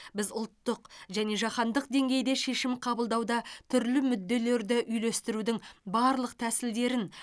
біз ұлттық және жаһандық деңгейде шешім қабылдауда түрлі мүдделерді үйлестірудің барлық тәсілдерін